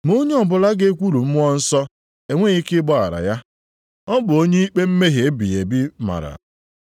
Ma onye ọbụla ga-ekwulu Mmụọ Nsọ, enweghị ike ịgbaghara ya. Ọ bụ onye ikpe mmehie ebighị ebi mara.”